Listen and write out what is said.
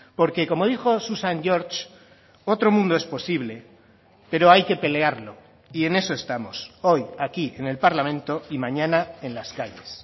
porque como dijo susan george otro mundo es posible pero hay que pelearlo y en eso estamos hoy aquí en el parlamento y mañana en las calles